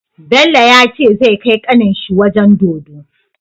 Bello yace zai kai kanin shi wajan dodo